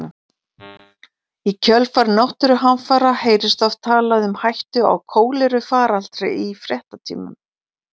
Í kjölfar náttúruhamfara heyrist oft talað um hættu á kólerufaraldri í fréttatímum.